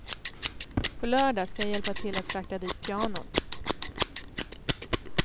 På lördag skall jag hjälpa till att frakta dit pianot.